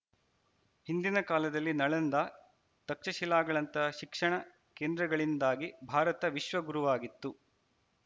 ಹಿಂದಿನ ಕಾಲದಲ್ಲಿ ನಳಂದಾ ತಕ್ಷಶಿಲಾಗಳಂತಹ ಶಿಕ್ಷಣ ಕೇಂದ್ರಗಳಿಂದಾಗಿ ಭಾರತ ವಿಶ್ವಗುರುವಾಗಿತ್ತು